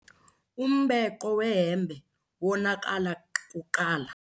Umbhenqo wehempe wonakala kuqala.